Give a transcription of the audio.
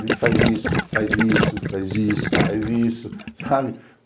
Ele faz isso, faz isso, faz isso, faz isso, sabe?